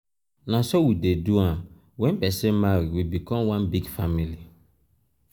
na so we dey do am wen person marry we become one big family.